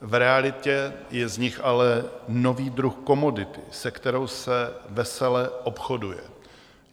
V realitě je z nich ale nový druh komodity, se kterou se vesele obchoduje.